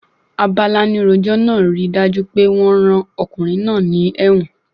Abalánirojọ́ náà ríi dájú pé wọ́n rán ọkùnrin náà ní ẹ́wọ̀n.